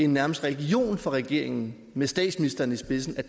nærmest en religion for regeringen med statsministeren i spidsen